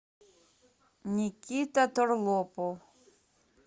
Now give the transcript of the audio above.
никита торлопов